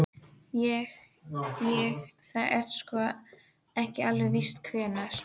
Niðurbrotið er líka andlegt því líkami og sál eru eitt.